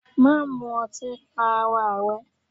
Má mu ọtí pa ara rẹ!